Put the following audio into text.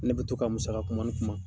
Ne bi to ka musaka kuma ni kuma.